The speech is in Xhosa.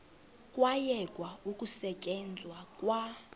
kwayekwa ukusetyenzwa kwa